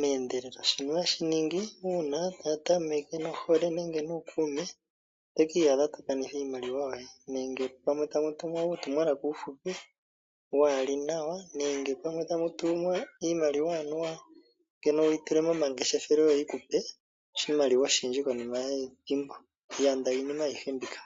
meendelelo, oshino oha shi ningi uuna mwatameke nohole nenge nuukume, oto ki iyadha tokanitha iimaliwa yoye, nenge tamu tumwa uutumwalaka uufupi waa li nawa, nenge pamwe tamutumwa iimaliwa anuwa wu yi tule momangeshefelo yo yikupe oshimaliwa oshindji muule wethimbo efupi, yanda iinima ayi he mbika.